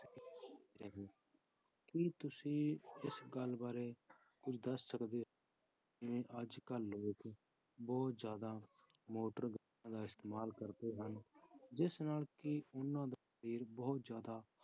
ਕੀ ਤੁਸੀਂ ਇਸ ਗੱਲ ਬਾਰੇ ਕੁੱਝ ਦੱਸ ਸਕਦੇ ਹੋ ਜਿਵੇਂ ਅੱਜ ਕੱਲ੍ਹ ਲੋਕ ਬਹੁਤ ਜ਼ਿਆਦਾ ਮੋਟਰ ਗੱਡੀਆਂ ਦਾ ਇਸਤੇਮਾਲ ਕਰਦੇ ਹਨ, ਜਿਸ ਨਾਲ ਕਿ ਉਹਨਾਂ ਦਾ ਸਰੀਰ ਬਹੁਤ ਜ਼ਿਆਦਾ